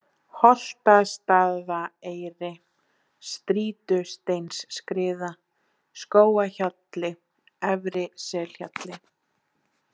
Holtastaðaeyri, Strýtusteinsskriða, Skógahjalli, Efri-Selhjalli